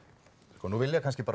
sko nú vilja kannski